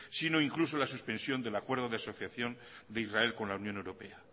sino incluso la suspensión del acuerdo de asociación de israel con la unión europea